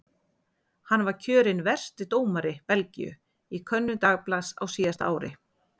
Hann var kjörinn versti dómari Belgíu í könnun dagblaðs á síðasta ári.